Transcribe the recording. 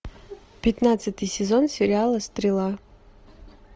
пятнадцатый сезон сериала стрела